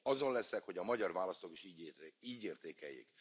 Azon leszek, hogy a magyar választók is így értékeljék.